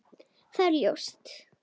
Það er ljóst.